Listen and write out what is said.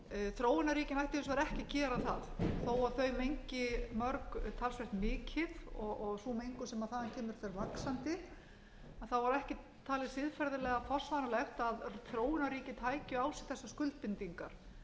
þróunarríkin ættu hins vegar ekki að gera það þó að þau mengi mörg talsvert mikið og sú mengun sem þaðan kemur fer vaxandi var ekki talið siðferðilega forsvaranlegt að þróunarríkin tækju á sig þessar skuldbindingar vegna þess